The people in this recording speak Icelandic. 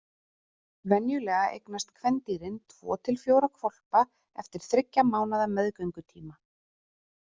Venjulega eignast kvendýrin tvo til fjóra hvolpa eftir þriggja mánaða meðgöngutíma.